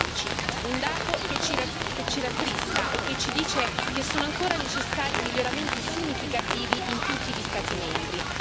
2015. Un dato che ci rattrista e che ci dice che sono ancora necessari miglioramenti significativi in tutti gli Stati membri.